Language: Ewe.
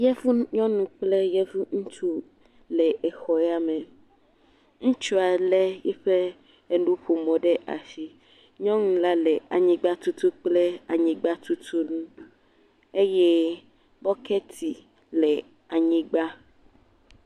Yevu nyɔnu kple yevu ŋutsu, wole exɔ yame. Ŋutsu le eƒe enuƒomɔ ɖe asi. Nyɔnu la le anyigba tutum kple eƒe anyigba tutu nu eye nɔ bɔketi le anyigba.